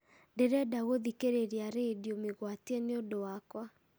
ndĩrenda gũthikĩrĩria rĩndiũ mĩgwatie nĩũndũ wakwa